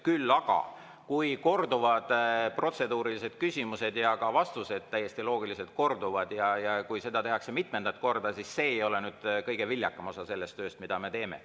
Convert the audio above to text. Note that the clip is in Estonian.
Küll aga, kui korduvad protseduurilised küsimused ja ka vastused täiesti loogiliselt korduvad ja kui seda tehakse mitmendat korda, siis see ei ole kõige viljakam osa sellest tööst, mida me teeme.